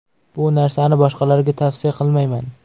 Bu narsani boshqalarga tavsiya qilmayman.